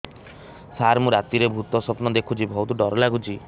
ସାର ମୁ ରାତିରେ ଭୁତ ସ୍ୱପ୍ନ ଦେଖୁଚି ବହୁତ ଡର ଲାଗୁଚି